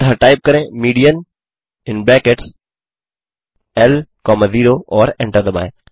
अतः टाइप करें median in brackets L comma 0 और एंटर दबाएँ